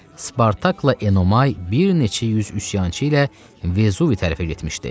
Spartakla Enomay bir neçə yüz üsyançı ilə Vezuvi tərəfə getmişdi.